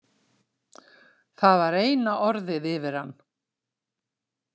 Það var eina orðið yfir hann.